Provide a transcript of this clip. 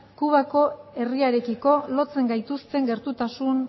kubako herriarekiko lotzen gaituzten gertutasun